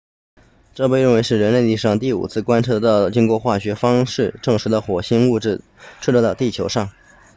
这被认为是人类历史上第五次观测到经过化学方式证实的火星物质坠落到地球上